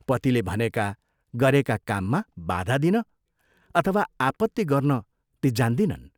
पतिले भनेका, गरेका काममा बाधा दिन अथवा आपत्ति गर्न ती जान्दिनन्।